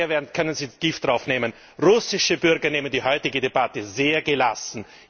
Und daher können Sie Gift darauf nehmen Russische Bürger nehmen die heutige Debatte sehr gelassen.